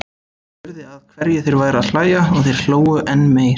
Ég spurði að hverju þeir væru að hlæja og þeir hlógu enn meir.